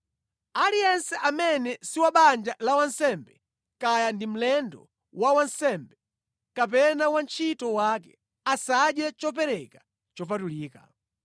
“ ‘Aliyense amene si wabanja la wansembe, kaya ndi mlendo wa wansembe, kapena wantchito wake, asadye chopereka chopatulika.